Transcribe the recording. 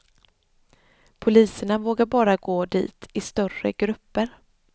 Poliserna vågar bara gå dit i större grupper.